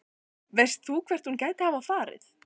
Veist þú hvert hún gæti hafa farið?